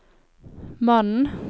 mannen